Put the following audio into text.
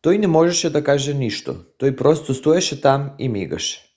той не можеше да каже нищо - той просто стоеше там и мигаше.